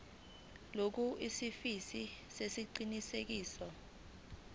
lokhu isiliphi sesiqinisekiso